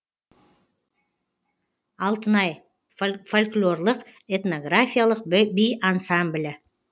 алтынай фольклорлық этнографиялық би ансамблі